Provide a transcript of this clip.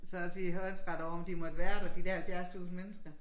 Så og sige håndsret over om de måtte være der de dér 70 tusind mennesker